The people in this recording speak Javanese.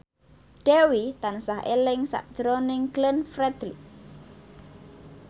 Dewi tansah eling sakjroning Glenn Fredly